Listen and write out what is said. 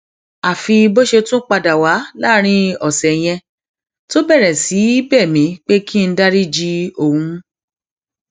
àfi bó ṣe tún padà wà láàrin ọsẹ yẹn tó bẹrẹ sí í bẹ mí pé kí n dariji òun